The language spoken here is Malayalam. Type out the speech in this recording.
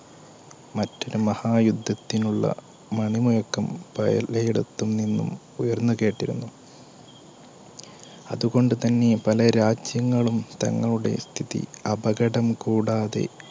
മറ്റൊരു മഹായുദ്ധത്തിനുള്ള മണിമുഴക്കം പലയിടത്തുനിന്നും ഉയർന്നു കേട്ടിരുന്നു. അതുകൊണ്ടുതന്നെ പല രാജ്യങ്ങളും തന്നോട്സ്ഥിതി അപകടം കൂടാതെ